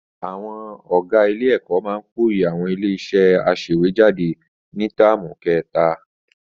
Àwọn ọ̀gá Ilé-ẹ̀kọ́ máa pòòyì àwọn ilé-iṣẹ́ aṣèwéjádé ni táàmù kẹta.